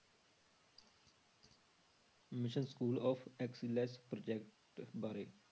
Mission school of excellence project ਬਾਰੇ।